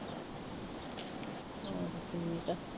ਠੀਕ ਆ।